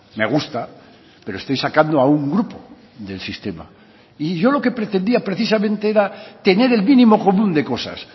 me gusta pero estoy sacando a un grupo del sistema y yo lo que pretendía precisamente era tener el mínimo común de cosas